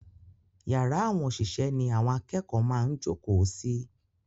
Yàrá àwọn òṣìṣẹ́ ni àwọn akẹ́kọ̀ọ́ máa ń jókòó sí.